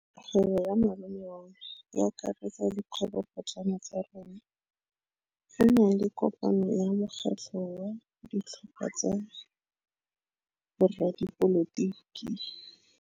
Kgwêbô ya malome wa me e akaretsa dikgwêbôpotlana tsa rona. Go na le kopanô ya mokgatlhô wa ditlhopha tsa boradipolotiki.